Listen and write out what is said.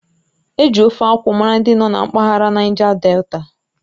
Eji Ofe akwụ mara ndị nọ na mpaghara Naija Delta